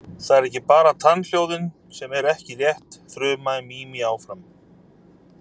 Það eru ekki bara tannhljóðin sem eru ekki rétt, þrumaði Mimi áfram.